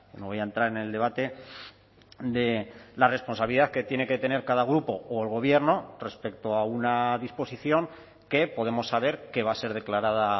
no voy a entrar en el debate de la responsabilidad que tiene que tener cada grupo o el gobierno respecto a una disposición que podemos saber que va a ser declarada